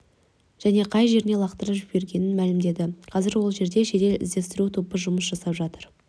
және қай жеріне лақтырып жібергенін мәлімдеді қазір ол жерде жедел іздестіру тобы жұмыс жасап жатыр